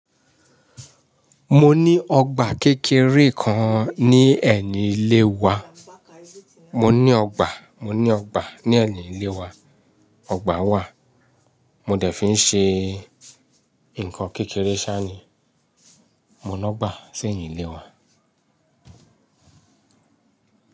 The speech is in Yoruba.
Mo ní ọgbà kékeré kan ní ẹ̀yìn ilé wa. Mo ní ọgbà, mo ní ọgbà ní ẹ̀yìn ilé wa. Ọgbà wà, mo dẹ̀ fi ń ṣe nǹkan kékeré sáà ni, mo lọ gbà sẹ́yìn ilé wa.